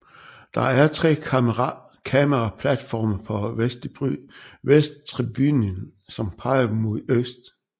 Der er tre kameraplatforme på vesttribunen som peger mod øst